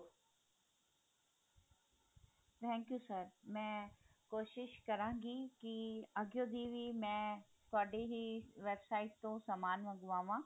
thank you sir ਮੈਂ ਕੋਸ਼ਿਸ਼ ਕਰਾਂਗੀ ਕੀ ਅੱਗਿਓਂ ਦੀ ਵੀ ਮੈਂ ਤੁਹਾਡੀ ਹੀ site ਤੋਂ ਸਮਾਨ ਮੰਗਵਾ ਵਾਂ